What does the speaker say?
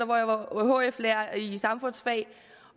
hvor jeg var hf lærer i samfundsfag